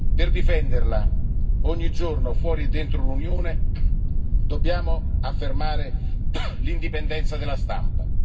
Per difenderla ogni giorno, fuori e dentro l'Unione, dobbiamo affermare l'indipendenza della stampa.